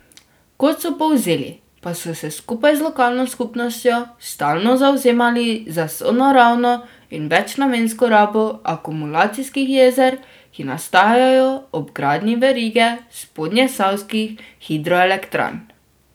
Kot so povzeli, pa so se skupaj z lokalno skupnostjo stalno zavzemali za sonaravno in večnamensko rabo akumulacijskih jezer, ki nastajajo ob gradnji verige spodnjesavskih hidroelektrarn.